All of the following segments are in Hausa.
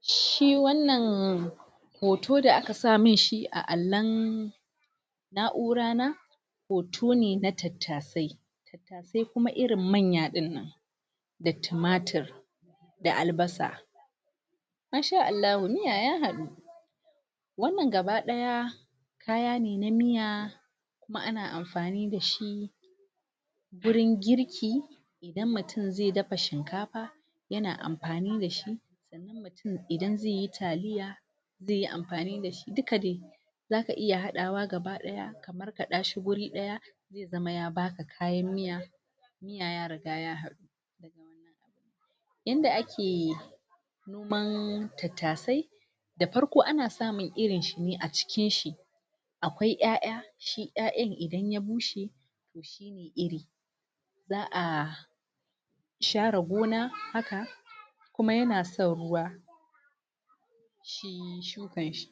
shi wannan hoto da aka samin shi a allon na'ura na hoto ne na tattasai Tattasai kuma irin manya dinnan Da tumatir Da albasa Masha Allahu miya ya hadu Wannan gaba daya Kaya na miya Kuma ana amfani dashi Wurin Girki Idan mutum zai dafa shinkafa Yana amfani dashi Sannan mutum idan zai yi talliya zai yi amfani dashi duka dai Zaka iya hadawa gaba daya Ka markada shi wuri daya Zai zama ya baka kayan miya miya ya riga ya hadu Yadda ake Noman Tattasai Da farko dai ana samun irin shi ne a cikin shi akwai yaya Shi yayan idan ya bushe To shine iri Za'a Share gona haka Kuma yana san ruwa Shi shukan shi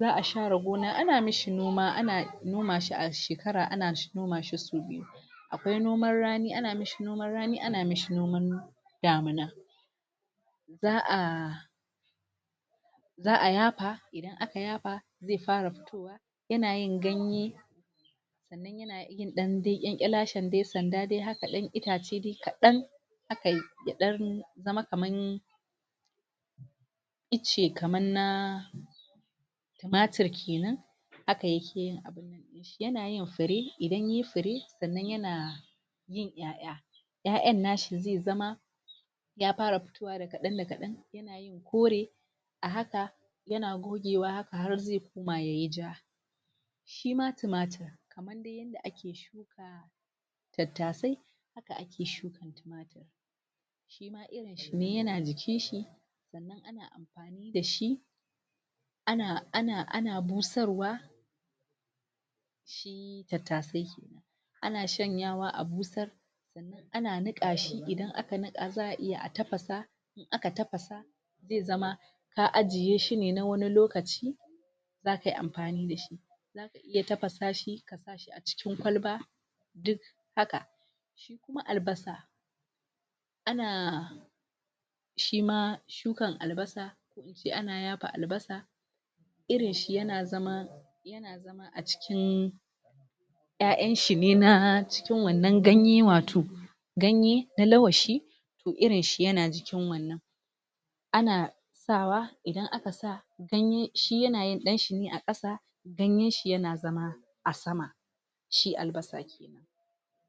Za'a share gona ana mashi noma ana noma shi a shekara ana noma shi sau biyu Akwai noman rani ana mashi noman rani ana mashi noman Damina Za'a Za'a yapa Idan aka yapa Zai fara fito wa yana yin ganye Sannan yana yin dan dai kelashen dai sanda dai haka dan itace haka kadan Haka yadan zama kaman Itace kaman na Tumatir kenan Haka yake yin abin nan dinshi yana yin fure idan yayi fure sannan yana Yin ya'ya Ya'yan nashi zai zama Ya fara fittowane da kadan da kadan yana yin kore A haka Yana chanzawa har zai kuma yayi ja Shima tumatir Kaman dai yadda ake shuka Tattasai Haka ake shuka tumatirin Shima irin shi yana jikin shi Sannan ana amfani dashi Ana ana busarwa Shi tattasai Ana shanyawa a busar Sannan ana niqa shi idan aka niqa shi za'a iya a tafasa Idan aka tafasa Zai zama Ka ajiye shi na wanni lokaci Zakayi amfani dashi Zaka iya tafasa shi Kasa shi A cikin kwalba Duka haka Shi kuma albasa Ana Shima shukar albasa Ko ince ana yafa albasa Irin shi yana zama Yana zama a cikin Ya'yan shine na cikin wannan ganye wato Ganye na lawashi To irinshi yana cikin wannan Ana Sawa idan aka sa Shi yanayin dan shine a kasa Ganyen shi yana zama A sama Shi albasa kenan